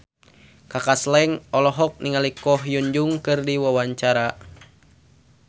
Kaka Slank olohok ningali Ko Hyun Jung keur diwawancara